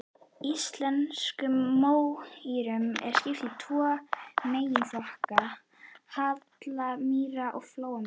Íslenskum mómýrum er skipt í tvo meginflokka, hallamýrar og flóamýrar.